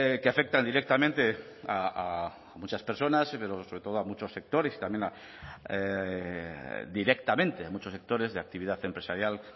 que afectan directamente a muchas personas pero sobre todo a muchos sectores y también a directamente a muchos sectores de actividad empresarial